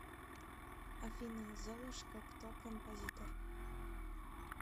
афина золушка кто композитор